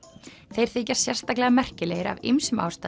þeir þykja sérstaklega merkilegir af ýmsum ástæðum